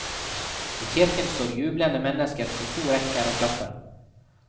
I kirken står jublende mennesker på to rekker og klapper.